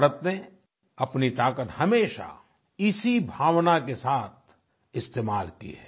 भारत ने अपनी ताकत हमेशा इसी भावना के साथ इस्तेमाल की है